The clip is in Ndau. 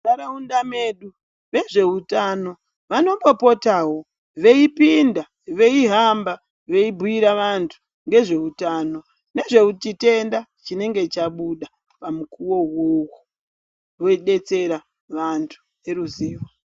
Munharaudza mwedu vezveutano vanombopotawo veipinda , veihamba veibhuira vantu nezveutano ngezvechitenda chinenge chabuda pamukuwo uwowo veidetsera vantu neruzivo .